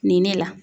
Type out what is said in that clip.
Nin ne la